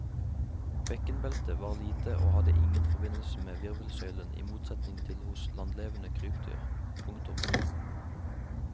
Bekkenbeltet var lite og hadde ingen forbindelse med virvelsøylen i motsetning til hos landlevende krypdyr. punktum